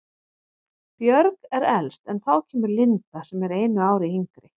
Björg er elst en þá kemur Linda sem er einu ári yngri.